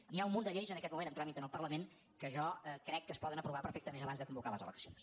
n’hi ha un munt de lleis en aquest moment en tràmit en el parlament que jo crec que es poden aprovar perfectament abans de convocar les eleccions